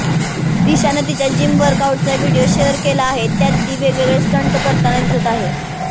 दिशानं तिच्या जिम वर्कआउटचा video share केला आहे ज्यात ती वेगवेगळे स्टंट करताना दिसत आहे